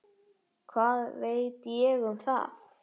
Hvað veit ég um það?